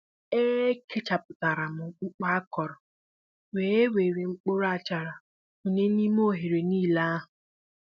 é kechaputaram mkpu akọrọ wē wéré mkpụrụ achara kunyé n'ime oghere nílé ahụ